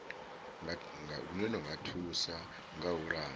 nga thusa kha u langa